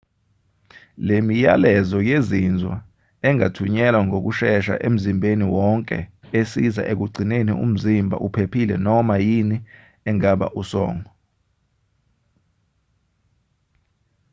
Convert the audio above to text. le miyalezo yezinzwa engathunyelwa ngokushesha emzimbeni wonke esiza ekugcineni umzimba uphephile kunoma yini engaba usongo